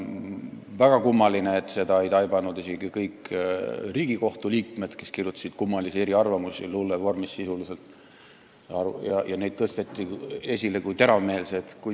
Väga kummaline, et seda ei taibanud isegi kõik Riigikohtu liikmed, kes kirjutasid kummalisi eriarvamusi – sisuliselt olid need luulevormis – ja neid tõsteti esile kui teravmeelseid.